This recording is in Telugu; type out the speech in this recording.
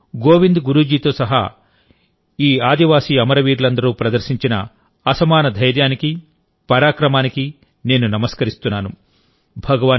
ఈ రోజు గోవింద్ గురు జీ తో సహా ఆ ఆదివాసి అమరవీరులందరూ ప్రదర్శించిన అసమానమైన ధైర్యానికి పరాక్రమానికి నేను నమస్కరిస్తున్నాను